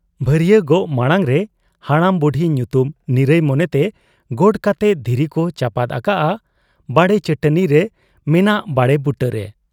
ᱵᱷᱟᱹᱨᱩᱤᱭᱟᱹ ᱜᱚᱜ ᱢᱟᱬᱟᱝᱨᱮ ᱵᱚᱰᱟᱢ ᱵᱩᱰᱷᱤ ᱧᱩᱛᱩᱢ ᱱᱤᱨᱟᱹᱭ ᱢᱚᱱᱮᱛᱮ ᱜᱚᱰ ᱠᱟᱛᱮ ᱫᱷᱤᱨᱤᱠᱚ ᱪᱟᱯᱟᱫ ᱟᱠᱟᱜ ᱟ ᱵᱟᱲᱮ ᱪᱟᱹᱴᱟᱹᱱᱤᱨᱮ ᱢᱮᱱᱟᱜ ᱵᱟᱲᱮ ᱵᱩᱴᱟᱹᱨᱮ ᱾